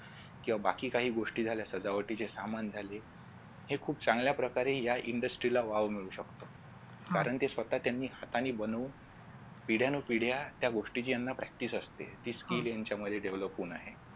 किंवा बाकी काही गोष्टी झाल्या सजावटीचे सामान झाले हे खूप चांगल्या प्रकारे या industry ला वाव मिळू शकतो कारण ते स्वतः त्यांनी हाताने बनवून पिढ्यान पिढ्या त्या गोष्टीची याना practice असते ती skill यांच्यामध्ये develop होऊन आहे